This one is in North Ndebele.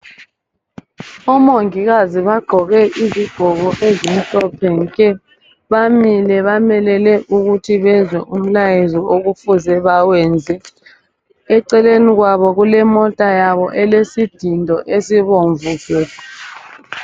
Omongikazi bagqoke izigqoko ezimhlophe nke. Bamile bamelele ukuthi bezwe umlayezo okufuze bawenze. Eceleni kwabo ,kulemota yabo elesidindo esibomvu gebhu.